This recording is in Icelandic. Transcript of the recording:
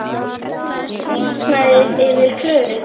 Það hýrnar yfir Klöru.